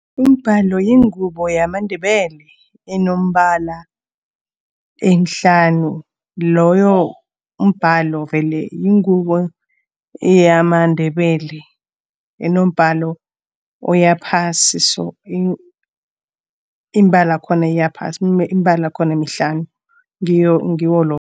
Umbalo yingubo yamaNdebele enombala emihlanu. Loyo mbhalo vele yingubo yamaNdebele enombhalo oyaphasi so, iimbala yakhona iyaphasi. Imibala yakhona emihlanu, ngiwo loyo.